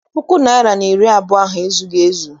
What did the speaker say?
Puku naịra na iri abụọ ahụ ezughị ezu.